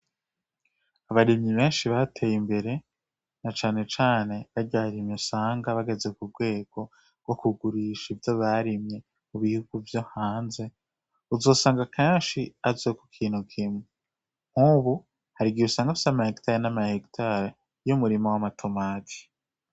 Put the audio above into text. Abarimyi benshi bateye imbere na cane cane barya barimyi usanga bageze ku rwego rwo kugurisha ivyo barimye mu bihugu vyo hanze, uzosanga kenshi azwi ku kintu kimwe. Nk'ubu hari igihe usanga afise amahegitare n'amahegitare y'umurima w'amatomati